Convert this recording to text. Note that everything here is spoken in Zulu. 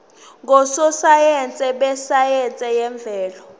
ngososayense besayense yemvelo